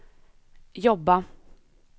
jobba